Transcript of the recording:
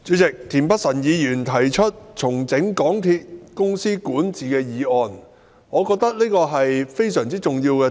代理主席，田北辰議員提出"重整港鐵公司管治"的議案，我認為這是非常重要的議題。